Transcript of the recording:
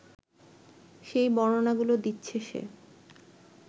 সেই বর্ণনাগুলো দিচ্ছে সে